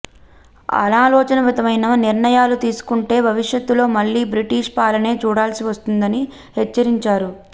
అనాలోచితమైన నిర్ణయాలు తీసుకుంటే భవిష్యత్లో మళ్ళీ బ్రిటిష్ పాలనే చూడాల్సి వస్తుందని హెచ్చరించారు